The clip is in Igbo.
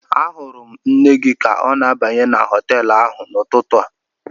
Ahụrụ m nne gị ka ọ na-abanye na họtel ahụ n'ụtụtụ a